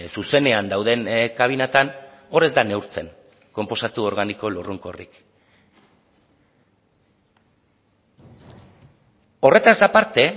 zuzenean dauden kabinetan hor ez da neurtzen konposatu organiko lurrunkorrik horretaz aparte